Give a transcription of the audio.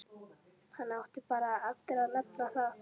Hann átti bara eftir að nefna það.